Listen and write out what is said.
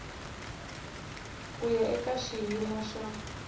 ku ya eka xiyimo xa